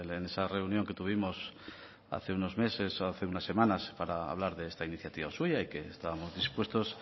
en esa reunión que tuvimos hace unos meses o hace unas semanas para hablar de esta iniciativa suya y que estábamos dispuestos